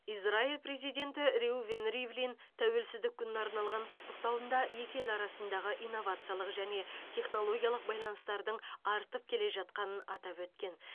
израиль президенті реувен ривлин тәуелсіздік күніне арналған құттықтауында екі ел арасындағы инновациялық және технологиялық байланыстардың артып келе жатқанын атап өткен